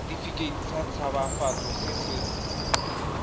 setefikeiti sa tshabafatso se se